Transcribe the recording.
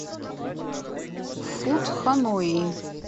фуд ханои